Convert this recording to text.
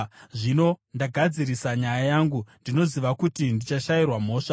Zvino ndagadzirisa nyaya yangu, ndinoziva kuti ndichashayirwa mhosva.